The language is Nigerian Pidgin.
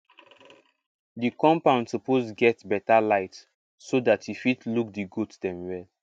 the compound suppose get better light so dat you fit look di goat dem well